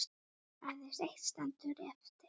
Aðeins eitt stendur eftir.